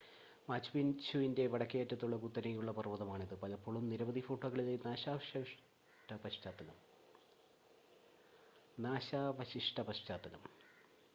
മാച്ചുപിച്ചുവിൻ്റെ വടക്കേയറ്റത്തുള്ള കുത്തനെയുള്ള പർവ്വതമാണിത് പലപ്പോഴും നിരവധി ഫോട്ടോകളിലെ നാശാവശിഷ്ട പശ്ചാത്തലം